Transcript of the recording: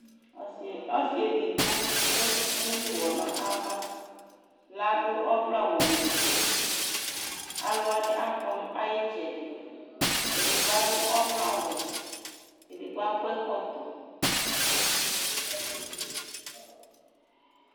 Ɔsi , ɔsi edigbo lemu nʋ ʋwɔ n'ava, ladʋ ɔvlɛ awʋ n'uti Aluwani akɔ nʋ ayitsɛdi, edigbo adʋ ɔvlɛ awʋ, edigbo akɔ ɛkɔtɔ